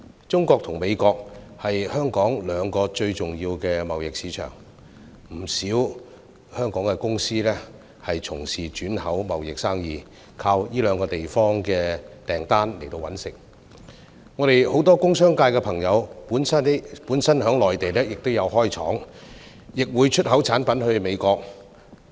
中國和美國是香港兩個最重要的貿易市場，不少香港公司從事轉口貿易生意，依靠這兩個地方的訂單謀生，很多工商界朋友本身在內地設廠，亦會出口產品到美國。